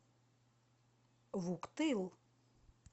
вуктыл